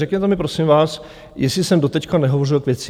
Řekněte mi, prosím vás, jestli jsem doteď nehovořil k věci?